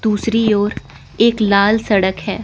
दूसरी ओर एक लाल सड़क है।